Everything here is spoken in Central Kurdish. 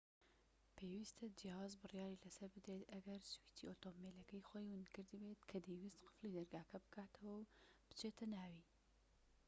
پێویستە جیاواز بڕیاری لەسەر بدرێت ئەگەر سویچی ئۆتۆمبیلەکەی خۆی ونکردبێت کە دەیویست قفڵی دەرگاکە بکاتەوە و بچێتە ناوی